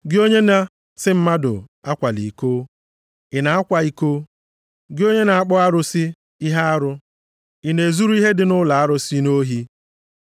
Gị onye na-asị mmadụ akwala iko, ị na-akwa iko? Gị onye na-akpọ arụsị ihe arụ, ị na-ezuru ihe dị nʼụlọ arụsị nʼohi?